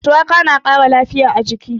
Shuwaka na ƙara lafiya a jiki.